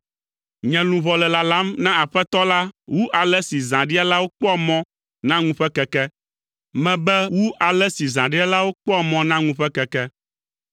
Nye luʋɔ le lalam na Aƒetɔ la wu ale si zãɖialawo kpɔa mɔ na ŋu ƒe keke; mebe wu ale si zãɖialawo kpɔa mɔ na ŋu ƒe keke.